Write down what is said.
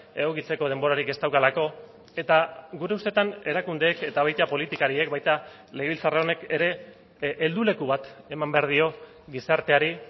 egokitzeko denborarik ez daukalako eta gure ustetan erakundeek eta baita politikariek baita legebiltzar honek ere helduleku bat eman behar dio gizarteari